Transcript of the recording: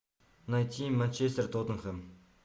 найти манчестер тоттенхэм